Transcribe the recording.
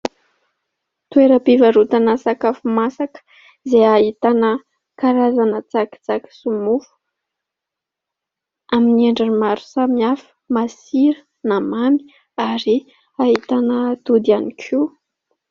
Toeram-pivarotana sakafo masaka izay ahitana karazana tsakitsaky sy mofo. Amin'ny endriny maro samihafa masira na mamy ary ahitana atody ihany koa.